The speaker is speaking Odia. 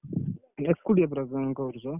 ଏକୁଟିଆ ପୁରା କାମ କରୁଛ?